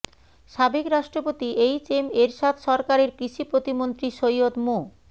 সাবেক রাষ্ট্রপতি H M Ershad সরকারের কৃষি প্রতিমন্ত্রী সৈয়দ মো